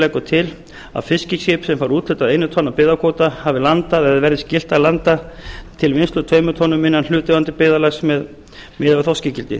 leggur til að fiskiskip sem fær úthlutað einu tonni af byggðakvóta hafi landað eða verði gert skylt að landa til vinnslu tveimur tonnum innan hlutaðeigandi byggðarlags miðað við þorskígildi